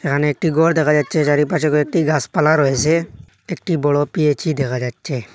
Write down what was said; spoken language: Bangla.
এখানে একটি ঘর দেখা যাচ্ছে চারিপাশে কয়েকটি গাসপালা রয়েসে একটি বড় পি_এইচ_ই দেখা যাচ্ছে।